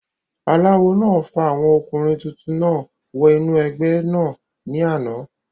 aláwo náà fa àwọn ọkùnrin tuntun náà wọ inú ẹgbẹ́ náà ní àná